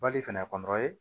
Bali fɛnɛ